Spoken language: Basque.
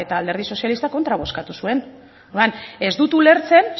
alderdi sozialistak kontra bozkatu zuen orduan ez dut ulertzen